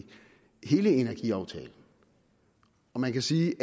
hele energiaftalen man kan sige